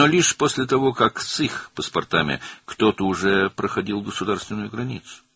Lakin yalnız onların pasportları ilə kimsə artıq dövlət sərhədini keçəndən sonra.